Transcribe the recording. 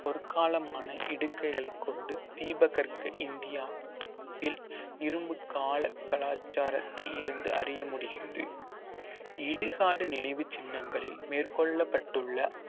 பொற்காலமான இடுக்கைகளைக் கொண்டு தீபகற்க இந்தியாவில் இரும்புக் கால கலாச்சாரத்தை இருந்து அறிய முடிகிறது இடுகாடு நினைவுச் சின்னங்களில் மேற்கொள்ளப்பட்டுள்ள